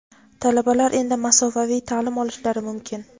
talabalar endi masofaviy taʼlim olishlari mumkin;.